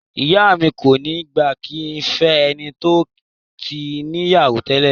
Ìyá mi kò ní gbà kí n fẹ́ ẹni tó tí níyàwó nílé